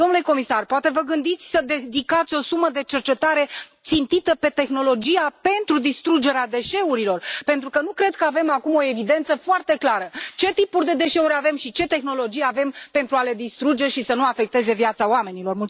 Domnule comisar, poate vă gândiți să dedicați o sumă de cercetare țintită pe tehnologia pentru distrugerea deșeurilor, pentru că nu cred că avem acum o evidență foarte clară ce tipuri de deșeuri avem și ce tehnologie avem pentru a le distruge și să nu afecteze viața oamenilor.